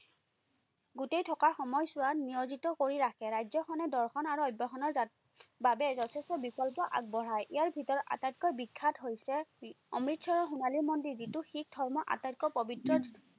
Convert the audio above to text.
গোটেই থকা সময়চোৱাত নিয়োজিত কৰি ৰাখে। ৰাজ্যখনে দৰ্শন আৰু ৰ বাবে যথেষ্ট বিকল্প আগবঢ়ায়। ইয়াৰ ভিতৰত আটাইতকৈ বিখ্যাত হৈছে অমৃতচৰৰ সোণালী মন্দিৰ, যিটো শিখ ধৰ্মৰ আটাইতকৈ পবিত্ৰ